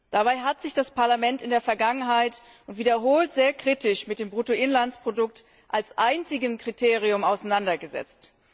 Dabei hat sich das Parlament in der Vergangenheit und wiederholt sehr kritisch mit dem Bruttoinlandsprodukt als einzigem Kriterium auseinandergesetzt.